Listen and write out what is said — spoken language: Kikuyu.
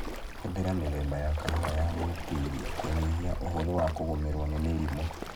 Hũthira mithemba ya kahũa ya gwĩtiria kũnyihia ũhũthũ wa kũgũmĩrwo nĩ mĩrimũ